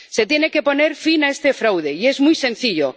Se tiene que poner fin a este fraude, y es muy sencillo.